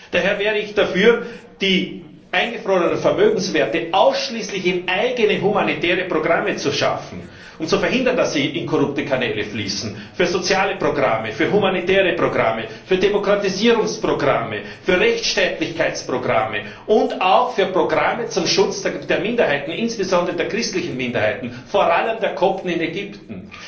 Daher wäre ich dafür, die eingefrorenen Vermögenswerte ausschließlich in eigene humanitäre Programme zu schaffen, um zu verhindern, dass sie in korrupte Kanäle fließen für soziale Programme, für humanitäre Programme, für Demokratisierungsprogramme, für Rechtsstaatlichkeitsprogramme und auch für Programme zum Schutz der Minderheiten, insbesondere der christlichen Minderheiten, vor allem der Kopten in Ägypten.